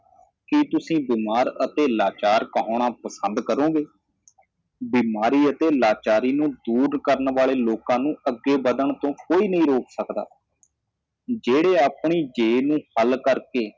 ਕਿ ਤੁਸੀ ਬਿਮਾਰ ਅਤੇ ਲਾਚਾਰ ਕਹਾਉਣਾਂ ਪਸੰਦ ਕਰੋਗੇ ਬਿਮਾਰੀ ਅਤੇ ਲਾਚਾਰੀ ਨੂੰ ਦੂਰ ਕਰਣ ਵਾਲੇ ਲੋਕਾਂ ਨੂੰ ਅੱਗੇ ਵਧਣ ਤੋਂ ਕੋਈ ਨਹੀ ਰੋਕ ਸਕਦਾ ਜਿਹੜੇ ਆਪਣੀ ਜੇਬ ਨੂੰ ਖੱਲ ਕਰਕੇ